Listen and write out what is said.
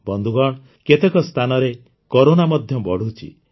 ବନ୍ଧୁଗଣ କେତେକ ସ୍ଥାନରେ କରୋନା ମଧ୍ୟ ବଢ଼ୁଛି